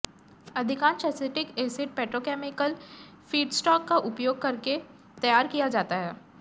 अधिकांश acetic acid petrochemical feedstock का उपयोग करके तैयार किया जाता है